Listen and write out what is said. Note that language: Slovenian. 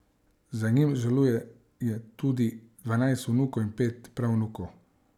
Za njim žaluje tudi dvanajst vnukov in pet pravnukov.